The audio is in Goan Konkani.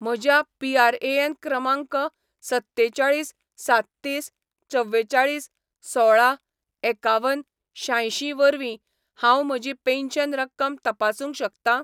म्हज्या पीआरएएन क्रमांक सत्तेचाळीस साततीस चवेचाळीस सोळा एकावन शांयशीं वरवीं हांव म्हजी पेन्शन रक्कम तपासूंक शकतां ?